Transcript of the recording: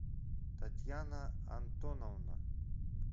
татьяна антоновна